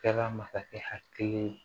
Kɛra masakɛ hakili ye